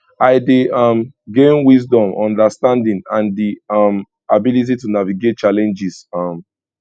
i dey um gain wisdom understanding and di um ability to navigate challenges um